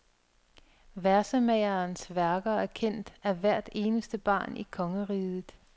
Versemagerens værker er kendt af hvert eneste barn i kongeriget.